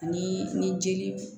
Ani ni jeli